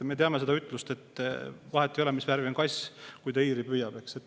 Me teame seda ütlust, et vahet ei ole, mis värvi on kass, kui ta hiiri püüab, eks.